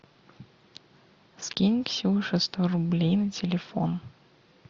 скинь ксюше сто рублей на телефон